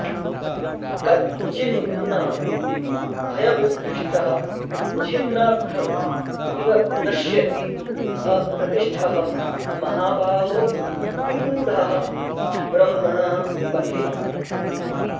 कच्चिन् न भयविभ्रष्टः छिन्नाभ्रम् इव नश्यति अप्रतिष्ठः महाबाहो विमूढः ब्रह्मणः पथि